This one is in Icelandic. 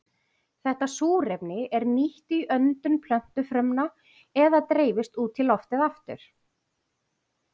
Þetta súrefni er nýtt í öndun plöntufrumna eða dreifist út í loftið aftur.